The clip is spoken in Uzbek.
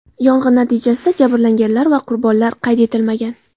Yong‘in natijasida jabrlanganlar va qurbonlar qayd etilmagan.